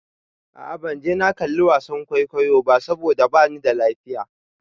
A'a ban je na kalli wasan kwaikwayon ba saboda bani da lafiya.